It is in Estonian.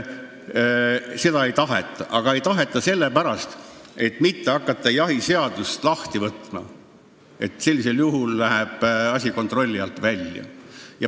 Aga seda ei taheta sellepärast, et ei oleks vaja hakata kogu jahiseadust lahti võtma, sest sellisel juhul läheb asi kontrolli alt välja.